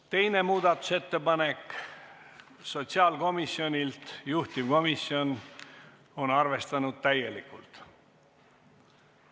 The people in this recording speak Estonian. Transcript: Teine muudatusettepanek, sotsiaalkomisjonilt, juhtivkomisjon on arvestanud täielikult.